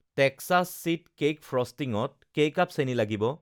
Texas sweet cake ফ্র'ষ্টিংত কেই cup চেনি লাগিব